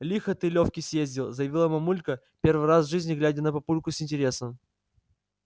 лихо ты лёвке съездил заявила мамулька первый раз в жизни глядя на папульку с интересом